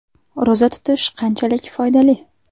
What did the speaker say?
Ro‘za tutish qanchalik foydali?.